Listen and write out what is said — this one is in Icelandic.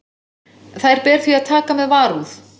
Þær ber því að taka með varúð.